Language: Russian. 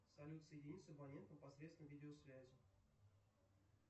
салют соедини с абонентом посредством видеосвязи